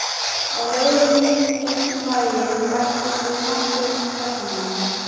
Á leiðinni í gegnum bæinn bættust við nokkrir karlmenn.